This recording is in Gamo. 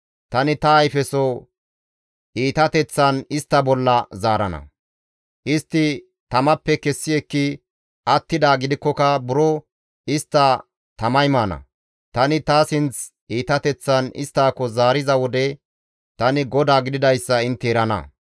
Tani ta ayfeso iitateththan istta bolla zaarana; istti tamappe kessi ekki attidaa gidikkoka buro istta tamay maana; tani ta sinth iitateththan isttako zaariza wode tani GODAA gididayssa intte erana.